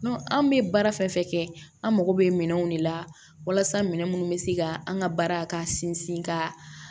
an bɛ baara fɛn fɛn kɛ an mako bɛ minɛnw de la walasa minɛ minnu bɛ se ka an ka baara ka sinsin ka